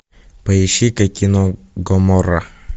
поищи ка кино гоморра